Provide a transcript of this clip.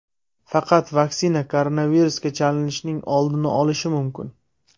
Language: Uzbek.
Faqat vaksina koronavirusga chalinishning oldini olish mumkin.